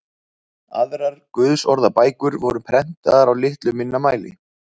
Aðrar guðsorðabækur voru prentaðar í litlu minna mæli.